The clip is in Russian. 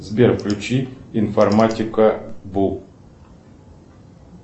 сбер включи информатика бу